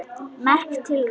Merk tilraun